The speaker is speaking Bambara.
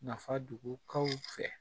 Nafa dogo kaw fɛ